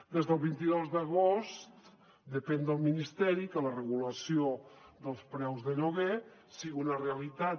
des del vint dos d’agost depèn del ministeri que la regulació dels preus de lloguer sigui una realitat